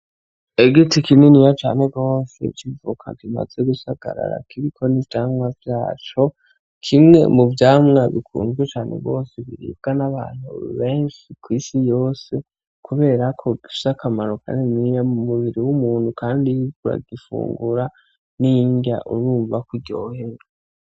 Igiti kininiya cane gose c'ivoka kimaze gusagarara kiriko n'ivyamwa vyaco, kimwe mu vyamwa bikunzwe cane gose, biribwa n'abantu benshi kw'isi yose, kubera ko gifise akamaro kaniniya mu mubiri w'umuntu kandi iyo uriko uragifungura n'indya urumva ko uryohewe.